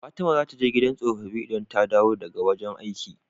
Fatima zata je gidan tsofafi idan ta dawo daka wajan aiki